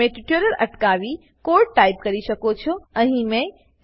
તમે ટ્યુટોરીયલ અટકાવીને code type કરી શકો છો જેમ જેમ આપણે આગળ વધીશું